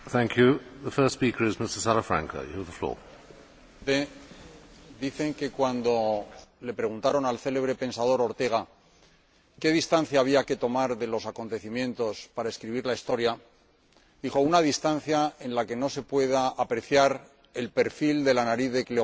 Señor Presidente, dicen que cuando le preguntaron al célebre pensador Ortega y Gasset qué distancia había que tomar de los acontecimientos para escribir la historia, dijo una distancia en la que no se pueda apreciar el perfil de la nariz de Cleopatra.